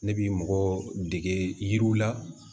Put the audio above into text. Ne bi mɔgɔ dege yiriw la